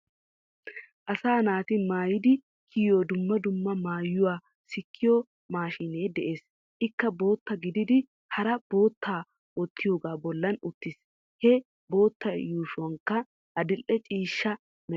Asaa naati maayiddi kiyiyoo dumma dumma maayuwuaa sikkiyoo maashshinee de'ees. Ikkaa bottaa giddidi haraa bottaa wotiyoogaa bollan uttis. He bottaa yuushoykka adidhdhe cishshaa meraa.